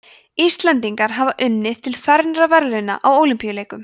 íslendingar hafa unnið til fernra verðlauna á ólympíuleikum